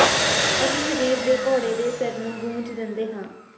ਅਸੀਂ ਸਰੀਰ ਦੇ ਘੋੜੇ ਦੇ ਸਿਰ ਨੂੰ ਗੂੰਜ ਦਿੰਦੇ ਹਾਂ